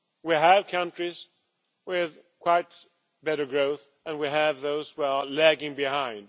We have countries with quite better growth, and we have those who are lagging behind.